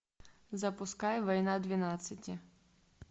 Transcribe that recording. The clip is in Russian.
запускай война двенадцати